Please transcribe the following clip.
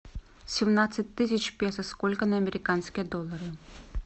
семнадцать тысяч песо сколько на американские доллары